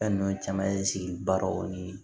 Fɛn ninnu caman ye sigi barow ni